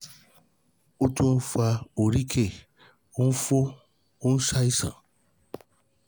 ó tún um ń fa um oríkèé, ó ń fò, um ó ń ṣàìsàn